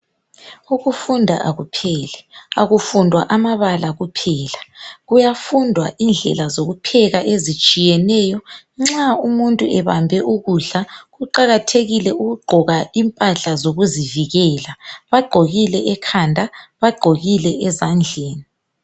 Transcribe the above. Ukufunda akupheli akufundwa amabala kuphela kuyafundwa indlela zokupheka ezitshiyeneyo nxa umuntu ebambe ukudla kuqakathekile ukugqoka impahla zokuzivikela bagqokile ekhanda bagqokile ezandleni